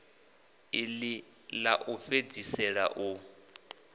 iḽi ḽa u fhedzisela u